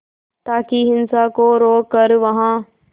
ताकि हिंसा को रोक कर वहां